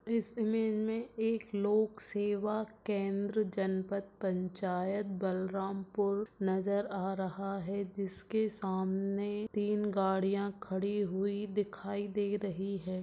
इस इमेज मे एक लोक सेवा केंद्र जनपत पंचायत बलरामपुर नजर आ रहा है जिसके सामने तीन गाड़िया खड़ी हुई दिखाई दे रही है।